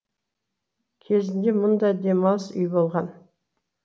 кезінде мұнда демалыс үйі болған